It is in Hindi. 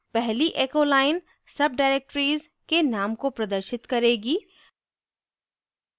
पहली echo line subdirectories के name को प्रदर्शित करेगी